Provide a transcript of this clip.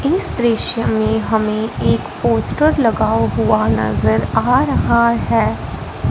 इस दृश्य में हमें एक पोस्टर लगा हुआ नजर आ रहा है।